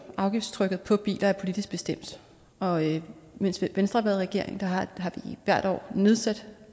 afgiftstrykket på biler er politisk bestemt og mens venstre i regering har vi hvert år nedsat